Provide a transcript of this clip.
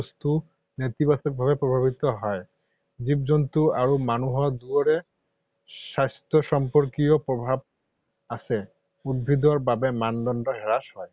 বস্তু নেতিবাচকভাৱে প্ৰভাৱিত হয়। জীৱ-জন্তু আৰু মানুহ দুয়োৰে স্বাস্থ্যসম্পৰ্কীয় প্ৰভাৱ আছে, উদ্ভিদৰ বাবে, মানদণ্ড হ্ৰাস হয়।